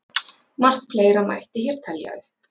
Margt fleira mætti hér telja upp.